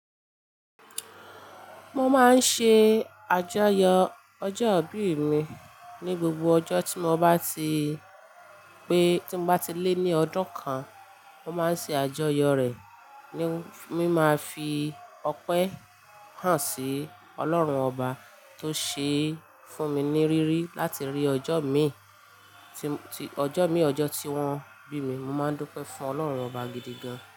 Mo máa ń ṣe àjọyọ̀ ọjọ́ ìbí mi ní gbogbo ọjọ́ tí mo bá ti pé, tí mo bá ti lé ní ọdún kan, mo máa ń ṣe àjọyọ̀ rẹ̀. Ni mí máa fi ọpẹ́ hàn sí Ọlọ́run ọba tó ṣe fún mi ní rírí láti rí ọjọ́ mi, tí ọjọ́ mi, ọjọ́ tí wọ́n bí mi. Mo máa ń dúpẹ́ fún Ọlọ́run ọba gidi gan-an.